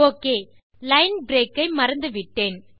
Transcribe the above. oக் line break ஐ மறந்துவிட்டேன்